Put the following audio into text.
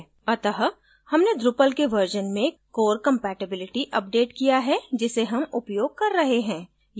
अत: हमने drupal के version में core compatibility अपडेट किया है जिसे हम उपयोग कर रहे हैं